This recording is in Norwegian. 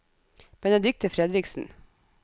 Benedikte Fredriksen